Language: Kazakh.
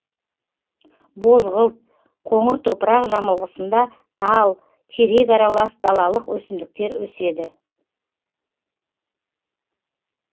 бозғылт қоңыр топырақ жамылғысында тал терек аралас далалық өсімдіктер өседі